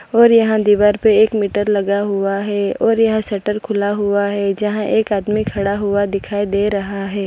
और यहां दीवार पे एक मीटर लगा हुआ है और यहां शटर खुला हुआ है जहां एक आदमी खड़ा हुआ दिखाई दे रहा है।